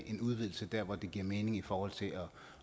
en udvidelse der hvor det giver mening i forhold til